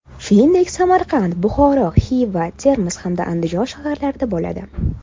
Shuningdek, Samarqand, Buxoro, Xiva, Termiz hamda Andijon shaharlarida bo‘ladi.